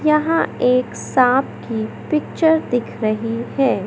यहां एक सांप की पिक्चर दिख रही है।